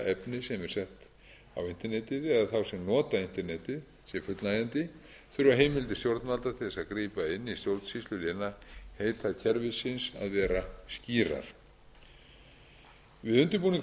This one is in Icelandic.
internetið eða þá sem nota internetið sé fullnægjandi þurfa heimildir stjórnvalda til að grípa inn í stjórnsýslu lénaheitakerfisins að vera skýrar við undirbúning